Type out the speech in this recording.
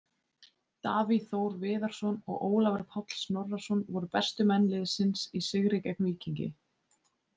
Davíð Þór Viðarsson og Ólafur Páll Snorrason voru bestu menn liðsins í sigri gegn Víkingi.